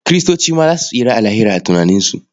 Kiristoci ma za su tsira a Lahira a tunaninsu.